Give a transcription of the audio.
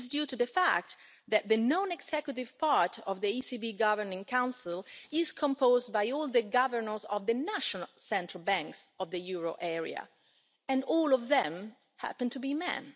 this is due to the fact that the non executive part of the ECB Governing Council is composed by all the governors of the national central banks of the euro area, and all of them happen to be men.